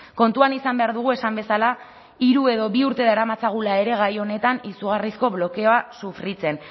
kontuan izan behar dugu esan bezala hiru edo bi urte daramatzagula ere gai honetan izugarrizko blokeoa sufritzen